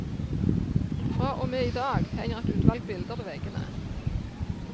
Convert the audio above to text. Fra og med i dag henger et utvalg bilder på veggene.